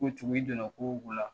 Ko cogo i don na ko o ko la